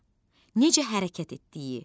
A necə hərəkət etdiyi.